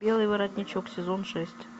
белый воротничок сезон шесть